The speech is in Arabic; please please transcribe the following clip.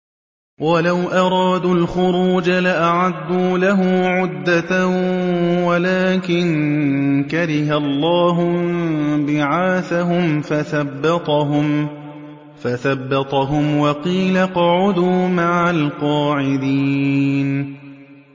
۞ وَلَوْ أَرَادُوا الْخُرُوجَ لَأَعَدُّوا لَهُ عُدَّةً وَلَٰكِن كَرِهَ اللَّهُ انبِعَاثَهُمْ فَثَبَّطَهُمْ وَقِيلَ اقْعُدُوا مَعَ الْقَاعِدِينَ